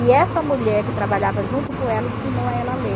E essa mulher que trabalhava junto com ela, ensinou ela a ler.